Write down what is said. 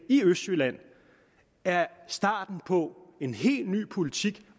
i østjylland er starten på en helt ny politik